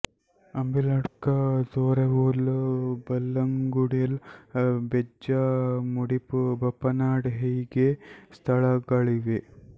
ಅಂಬಿಲಡ್ಕ ತೊರವೊಲು ಬಲ್ಲಂಗುಡೆಲ್ ಬೆಜ್ಜ ಮುಡಿಪು ಬಪ್ಪನಾಡ್ ಹೀಗೆ ಸ್ಥಳಗಳಿವೆ